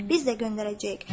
Biz də göndərəcəyik.